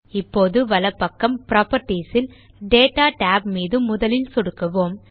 இப்போது வலப் பக்கம் புராப்பர்ட்டீஸ் இல் டேட்டா tab மீது முதலில் சொடுக்குவோம்